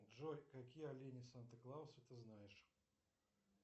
джой какие олени санта клауса ты знаешь